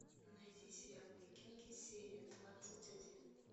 найти сериал викинги серия двадцать один